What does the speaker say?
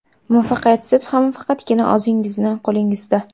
muvaffaqiyatsizlik ham faqatgina o‘zingizning qo‘lingizda.